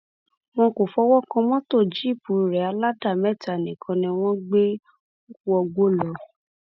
wọn kò fọwọ kan mọtò jíìpù rẹ aládèméta nìkan ni wọn gbé wọgbó lọ